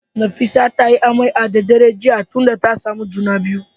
Nefisat ta yi amai a daddare jiya tunda tasamu juna biyu